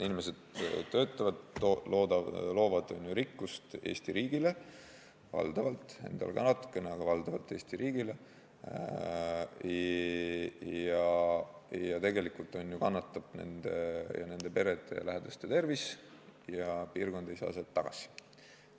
Inimesed töötavad, loovad rikkust Eesti riigile, valdavalt, endale ka natuke, aga valdavalt Eesti riigile ning tegelikult kannatab nende ja nende perede ja lähedaste tervis ning piirkond ei saa sealt midagi tagasi.